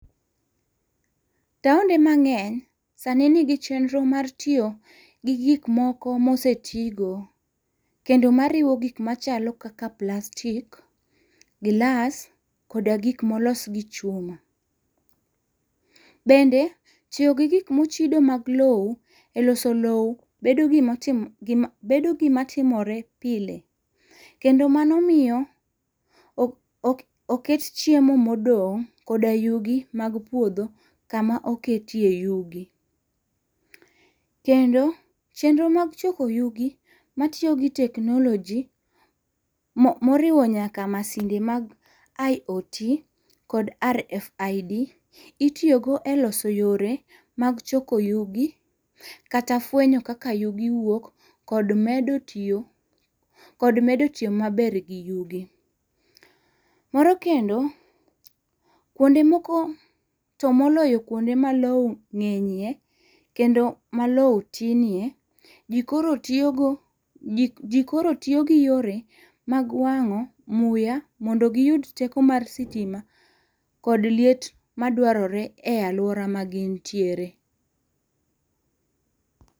Taonde mang'eny, sani nigi chenro mar tiyo gi gik moko mosetigo kendo mariwo gik machalo kaka plastik, gilas koda gik molos gi chuma. Bende tiyo gi gik mochido mag lowo,e loso lowo bedo gimatimore pile, kendo mano miyo oket chiemo modong' koda yugi mag puodho kama oketye yugi. kendo chenro mag choko yugi matiyo gi teknoloji moriwo nyaka masinde mag IOT kod RFID itiyogo e loso yore mga choko yugi, kata fwenyo kaka yugi wuog kod medo tiyo maber gi yugi. Moro kendo, kwonde moko to moloyo kwonde maloyo ng'enyye kendo malowo tin ye, ji koro tiyo gi yore mag wang'o muya mondo giyud teko mar stima kod liet madwarore e alwora magintiere.